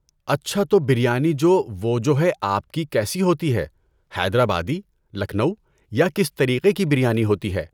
اچھا تو بریانی جو وہ جو ہے آپ کی کیسی ہوتی ہے، حیدرآبادی لکھنؤ یا کس طریقے کی بریانی ہوتی ہے؟